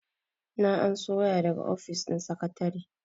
na anso waya daga ofis din sakatare